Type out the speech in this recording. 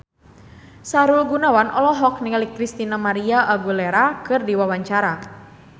Sahrul Gunawan olohok ningali Christina María Aguilera keur diwawancara